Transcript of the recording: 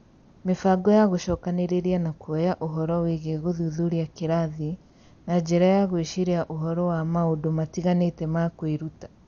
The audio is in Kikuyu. Mĩbango ya gũcokanĩrĩria na kuoya ũhoro wĩĩgiĩ gũthuthuria kĩrathi na njĩra ya gwĩciria ũhoro wa maũndũ matiganĩte ma kwĩruta